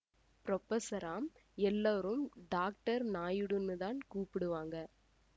புரொபஸராம் எல்லோரும் டாக்டர் நாயுடூன்னுதான் கூப்பிடுவாங்க